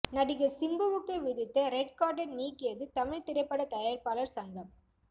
நடிகர் சிம்புவுக்கு விதித்த ரெட் கார்டை நீக்கியது தமிழ் திரைப்பட தயாரிப்பாளர் சங்கம்